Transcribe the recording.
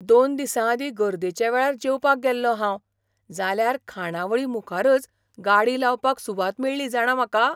दोन दिसांआदीं गर्देच्या वेळार जेवपाक गेल्लों हांव, जाल्यार खाणावळी मुखारच गाडी लावपाक सुवात मेळळी जाणा म्हाका.